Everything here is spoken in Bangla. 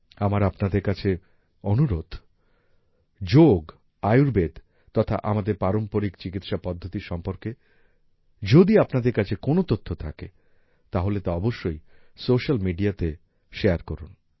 আমার আপনাদের কাছে অনুরোধ যোগ আয়ুর্বেদ তথা আমাদের পারম্পরিক চিকিৎসা পদ্ধতি সম্পর্কে যদি আপনাদের কাছে কোনো তথ্য থাকে তাহলে তা অবশ্যই স্যোশাল মিডিয়াতে শেয়ার করুন